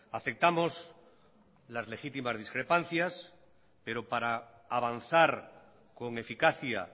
aceptamos las legítimas discrepancias pero para avanzar con eficacia